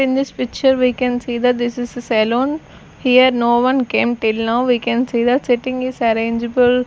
in this picture we can see a saloon here no one came till now we can see sitting is arrangable --